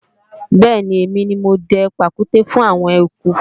bẹ́ẹ̀ni, èmi ni mo dẹ pàkúté fún àwọn eku